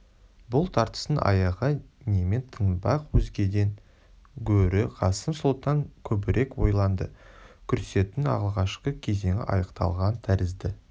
бұл тартыстың аяғы немен тынбақ өзгеден гөрі қасым сұлтан көбірек ойланды күрестің алғашқы кезеңі аяқталған тәрізді